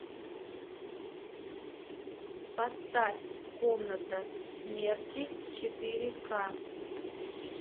поставь комната смерти четыре ка